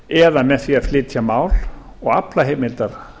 eða með því að flytja mál og afla heimildar